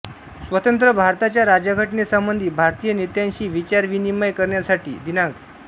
स्वतंत्र भारताच्या राज्यघटनेसंबंधी भारतीय नेत्यांशी विचारविनिमय करण्यासाठी दि